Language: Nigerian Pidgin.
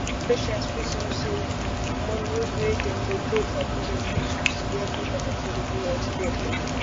patients fit know say money wey dem go pay from pocket fit change to get quick and affordable healthcare